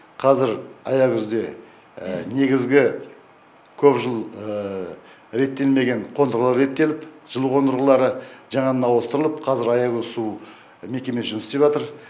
қазір аягөзде негізгі көп жыл реттелмеген қондырғылар реттеліп жылу қондырғылары жаңадан ауыстырылып қазір аягөз су мекемесі жұмыс істеп жатыр